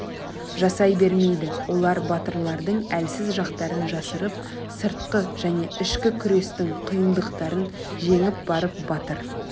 жасай бермейді олар батырлардың әлсіз жақтарын жасырып сыртқы және ішкі күрестің қиындықтарын жеңіп барып батыр